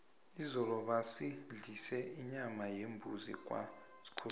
izolo basidlise inyama yembuzi kwaskhosana